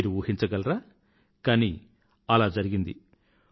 మీరు ఊహించగలరా కానీ అలా జరిగింది